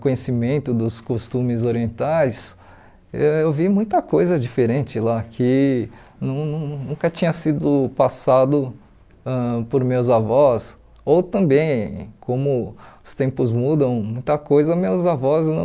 conhecimento dos costumes orientais eu vi muita coisa diferente lá que não nunca tinha sido passado ãh por meus avós ou também como os tempos mudam muita coisa meus avós não